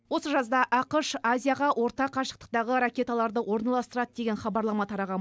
осы жазда ақш азияға орта қашықтықтағы ракеталарды орналастырады деген хабарлама тараған